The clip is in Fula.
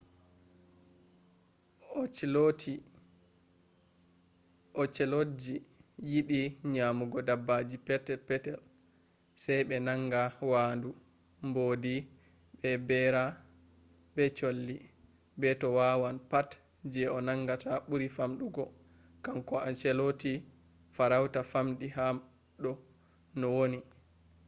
ocelotji yiɗi nyamugo dabaji pet-petel. sai ɓe naanga waandu mbodi be bera be colli to be wawan. pat je o nangata ɓuri famɗugo kanko ocelot farauta famɗi ha do no woni